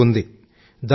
hospital ఉంది